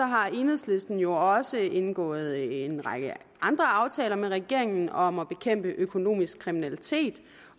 har enhedslisten jo også indgået en række andre aftaler med regeringen om at bekæmpe økonomisk kriminalitet